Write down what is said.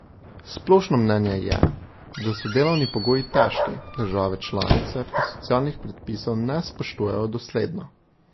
Splošno mnenje je, da so delovni pogoji težki, države članice pa socialnih predpisov ne spoštujejo dosledno.